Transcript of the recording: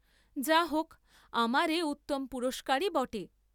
যা হক আমার এ উত্তম পুরস্কারই বটে!